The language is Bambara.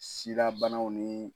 Sida banaw ni.